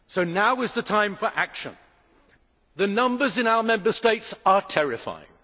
Now is the time for action the numbers in our Member States are terrifying.